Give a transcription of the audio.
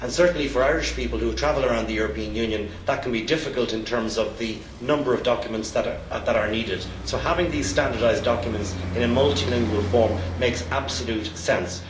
Certainly for Irish people who travel around the European Union, that can be difficult in terms of the number of documents that are needed, so having these standardised documents in a multilingual form makes absolute sense.